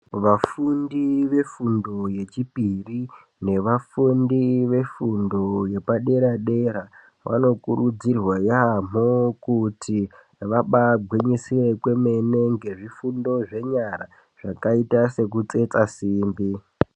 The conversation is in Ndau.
Vafundi vefundo yechipiri nevafundi vefundo yepadera-dera, vanokurudzirwa yaamho kuti vabaagwinyisire kwemene ngezvifundo zvenyara zvakaita sekutsetsa simbi.